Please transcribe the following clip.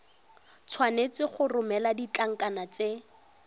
tshwanetse go romela ditlankana tse